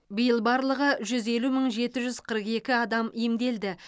биыл барлығы жүз елу мың жеті жүз қырық екі адам емделді